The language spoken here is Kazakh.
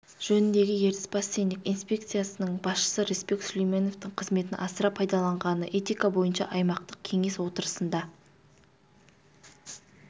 жөніндегі ертіс бассейндік инспекциясының басшысы рысбек сүлейменовтың қызметін асыра пайдаланғаны этика бойынша аймақтық кеңес отырысында